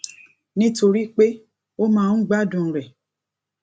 nítorí pé ó máa ń gbádùn rè